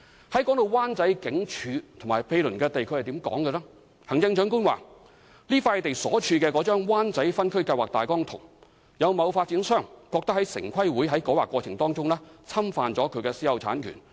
提到灣仔警署和毗鄰土地，行政長官表示這幅地"處於那幅灣仔分區計劃大綱圖，有某發展商認為城市規劃委員會的改劃過程侵犯他的私有產權"。